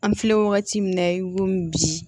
An filɛ wagati min na i komi bi